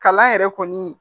Kalan yɛrɛ kɔni